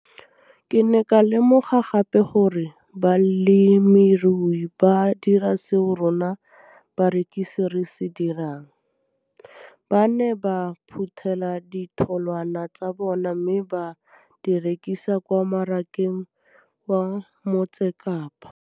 Ke ne ka lemoga gape gore balemirui ba dira seo rona barekisi re se dirang, ba ne ba phuthela ditholwana tsa bona mme ba di rekisa kwa marakeng wa Motsekapa.